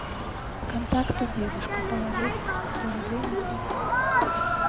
контакты дедушка положить сто рублей на телефон